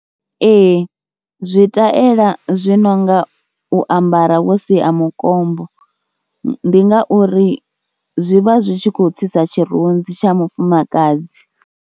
Ee zwi ṱlela zwi no nga u ambara vho sia mukombo ndi ngauri zwi vha zwi tshi khou tsitsa tshirunzi tsha mufumakadzi.